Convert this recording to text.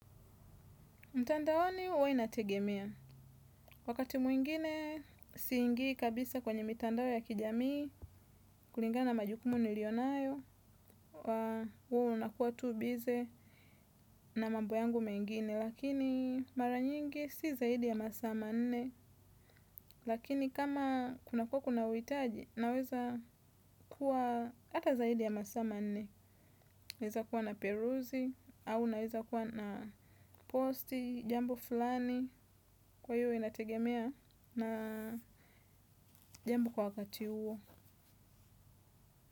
Mtandaoni huwa inategemea, wakati mwingine siingii kabisa kwenye mitandao ya kijamii, kulingana na majukumu niliyonayo, huwa nakuwa tu busy na mambo yangu mengine. Lakini mara nyingi si zaidi ya masaa manne, lakini kama kuna kuwa kuna uhitaji, naweza kuwa hata zaidi ya masaa manne. Naweza kuwa naperuzi, au naweza kuwa na posti, jambo fulani, kwa hiyo inategemea na jambo kwa wakati huo.